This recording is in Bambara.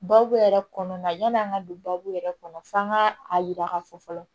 Baabu yɛrɛ kɔnɔna yan'an ka don baabu yɛrɛ kɔnɔ f'an ka a yira k'a fɔ fɔlɔ